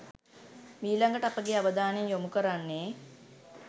මීළඟට අපගේ අවධානය යොමු කරන්නේ